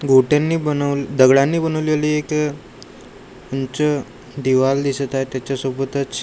गोट्यांनी बनव दगडांनी बनवलेली एक उंच दिवार दिसत आहे त्याच्यासोबतच--